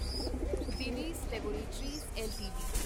Divi's laboratories LTD